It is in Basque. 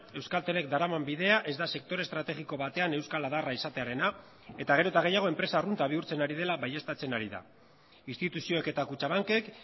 euskaltelek daraman bidea ez da sektore estrategiko batean euskal adarra izatearena eta gero eta gehiago enpresa arrunta bihurtzen ari dela baieztatzen ari da instituzioek eta kutxabankek